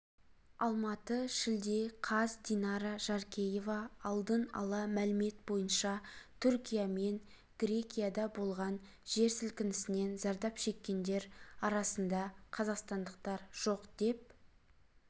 алматы шілде қаз динара жаркеева алдын ала мәлімет бойынша түркия мен грекияда болған жер сілкінісінен зардап шеккендер арасында қазақстандықтар жоқ деп